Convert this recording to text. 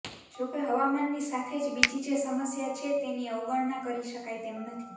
જોકે હવામાનની સાથે જ બીજી જે સમસ્યા છે તેની અવગણના કરી શકાય તેમ નથી